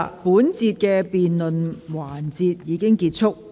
本環節的辯論時間結束。